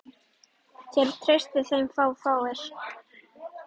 Það treysta þeim fáir.